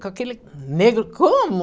Com aquele negro, como?